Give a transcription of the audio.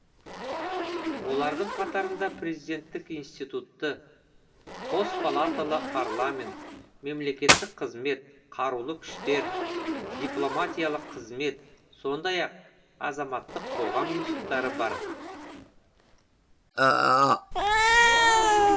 олардың қатарында президенттік институтты қос палаталы парламент мемлекеттік қызмет қарулы күштер дипломатиялық қызмет сондай ақ азаматтық қоғам институттары бар